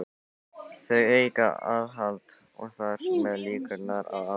Þau auka aðhald og þar með líkurnar á árangri.